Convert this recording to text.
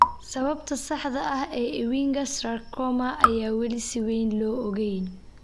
Sababta saxda ah ee Ewinga sarcoma ayaan weli si weyn loo ogeyn.